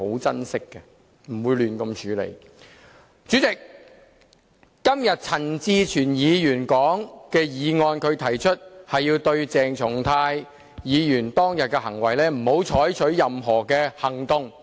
主席，陳志全議員今天提出的這項議案要求不要對鄭松泰議員當天的行為採取任何行動。